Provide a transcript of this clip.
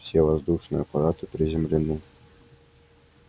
все воздушные аппараты приземлены